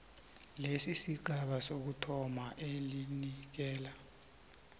lesigaba sokuthoma elinikela